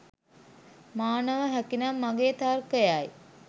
මා නොව හැකිනම් මගේ තර්කයයි.